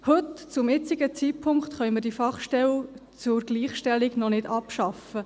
Heute, zum jetzigen Zeitpunkt, können wir die Fachstelle für Gleichstellung noch nicht abschaffen.